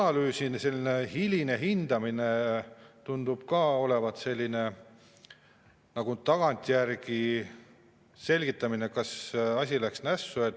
Aga mõjude selline hiline hindamine tundub ka olevat nagu tagantjärele selgitamine, et kas asi läks nässu.